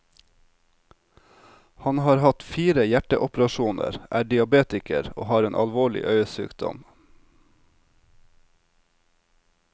Han har hatt fire hjerteoperasjoner, er diabetiker og har en alvorlig øyesykdom.